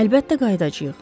Əlbəttə qayıdacayıq.